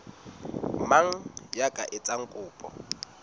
mang ya ka etsang kopo